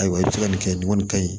Ayiwa i bɛ se ka nin kɛ nin kɔni ka ɲi